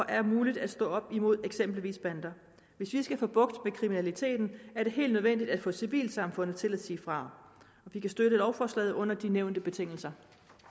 er muligt at stå op imod eksempelvis bander hvis vi skal have bugt med kriminaliteten er det helt nødvendigt at få civilsamfundet til at sige fra vi kan støtte lovforslaget under de nævnte betingelser